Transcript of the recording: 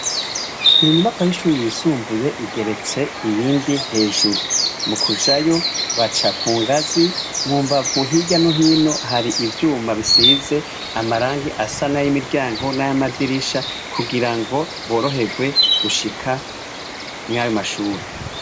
Inyubakwa y'ishure yisumbuye igeretse iyindi hejuru mukujayo baca kungazi mumbavu hirya nohino har'ivyuma bisize amarangi asa nay'imiryango n'amadirisha kugirango boroherwe gushika mur'ayomashure.